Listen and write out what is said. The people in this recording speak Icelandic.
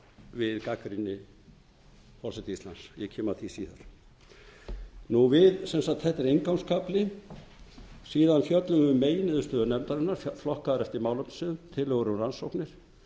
við gagnrýni forseta íslands og ég kem að því síðar þetta er inngangskafli síðan fjöllum við um meginniðurstöðu nefndarinnar flokkaðar eftir málefnasviðum tillögur um rannsóknir